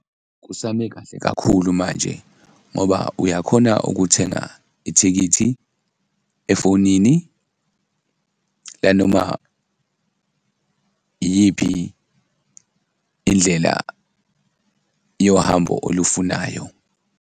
Kusame kahle kakhulu manje ngoba uyakhona ukuthenga ithikithi efonini lanoma iyiphi indlela yohambo olufunayo.